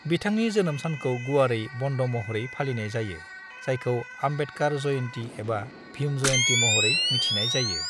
बिथांनि जोनोम सानखौ गुवारै बन्द महरै फालिनाय जायो, जायखौ आम्बेडकार जयन्ती एबा भीम जयन्ती महरै मिथिनाय जायो।